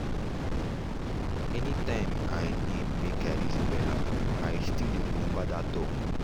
anytime i need make i reason wella i still dey remember that talk.